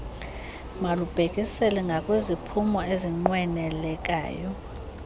malubhekiselele ngakwiziphumo ezinqwenelekayo